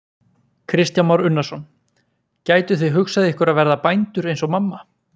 Kristján Már Unnarsson: Gætuð þið hugsað ykkur að verða bændur eins og mamma?